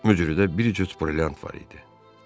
Mücrüdə də bir cüt brilliant var idi.